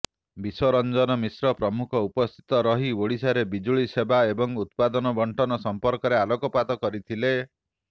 ବିଶ୍ବରଂଜନ ମିଶ୍ର ପ୍ରମୁଖ ଉପସ୍ଥିତ ରହି ଓଡ଼ିଶାରେ ବିଜୁଳି ସେବା ଏବଂ ଉତ୍ପାଦନ ବଣ୍ଟନ ସଂପର୍କରେ ଆଲୋକପାତ କରିଥିଲେ